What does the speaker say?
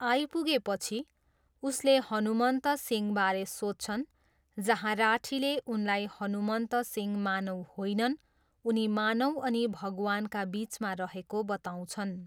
आइपुगेपछि, उसले हनुमन्त सिंहबारे सोध्छन् जहाँ राठीले उनलाई हनुमन्त सिंह मानव होइनन्, उनी मानव अनि भगवानका बिचमा रहेको बताउँछन्।